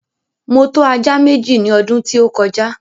Mo tọ́ ajá Méjì ní ọdún tí ó kọjá